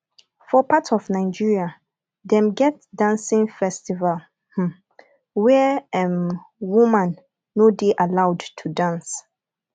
for part of nigeria dem get dancing festival um where um woman no de allowed to dance